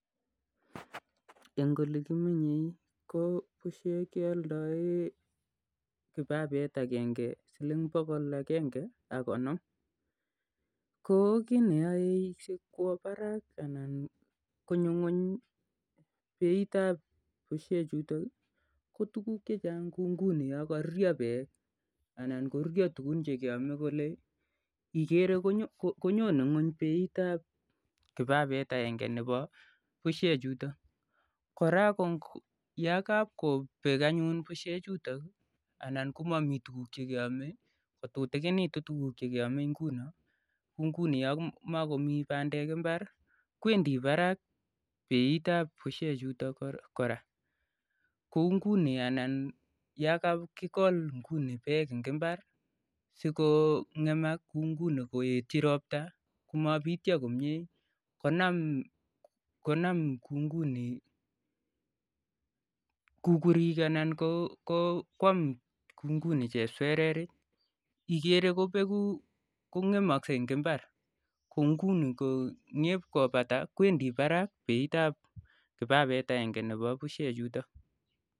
Eng oleekimenyei keoleoen bushek kiba et agenge silink bokol agenge ak konom Koo kii neyoei kwaak Barak ana konyoo ngony beiitap bushek chutok ko tukuk chechang kouu ngunii yakaruryoo beek ak tukuk chekiomei koyoe alyet ap bushek kopaa ngony koyamamii tukun chekeomei koyaei beiitap bushek chutok ko paa barak